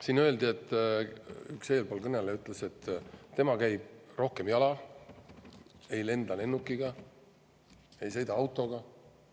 Siin öeldi, üks eelkõneleja ütles, et tema käib rohkem jala, ei lenda lennukiga, ei sõida autoga.